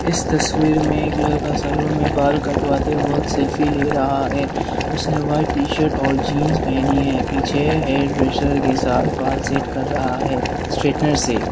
इस तस्वीर में एक लड़का सैलून में बाल कटवाते वक्त सेल्फी ले रहा है उसने व्हाइट टी शर्ट और जींस पहनी है पीछे हेयर ड्रेसर के साथ बाल सेट कर रहा है स्टेनर से--